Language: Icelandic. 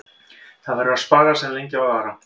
Það verður að spara sem lengi á að vara.